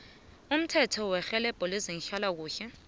umthetho werhelebho lezehlalakuhle